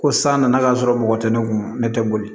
Ko san nana ka sɔrɔ mɔgɔ tɛ ne kun ne tɛ boli